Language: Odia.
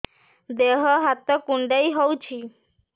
ଦେହ ହାତ କୁଣ୍ଡାଇ ହଉଛି